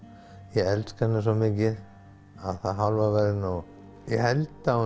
ég elska hana svo mikið að það hálfa væri nóg ég held að